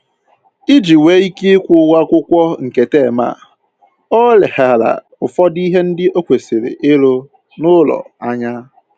Iji nwee ike kwụọ ụgwọ akwụkwọ nke tem a, o leghara ụfọdụ ihe ndị o kwesịrị ịrụ n'ụlọ anya